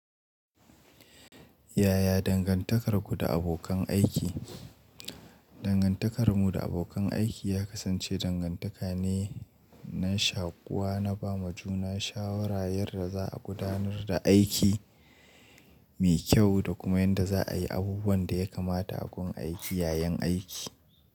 Yaya dangantakarku da abokan aiki? Dangantakarmu da abokan aiki ya kasance dangantaka ne na shakuwa na ba ma juna shawara yadda za a gudanar da aiki mai kyau da kuma yadda za a yi abubuwan da ya kamata a gun aiki yayin aiki.